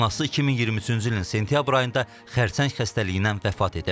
Anası 2023-cü ilin sentyabr ayında xərçəng xəstəliyindən vəfat edib.